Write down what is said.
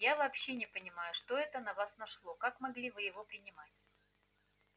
я вообще не понимаю что это на вас нашло как могли вы его принимать